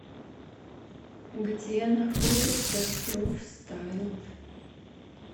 где находится профстайл